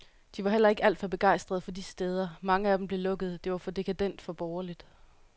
De var heller ikke alt for begejstret for de steder, mange af dem blev lukket, det var for dekadent, for borgerligt.